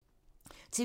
TV 2